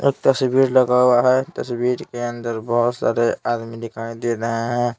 एक तस्वीर लगा हुआ है तस्वीर के अंदर बहुत सारे आदमी दिखाई दे रहे हैं।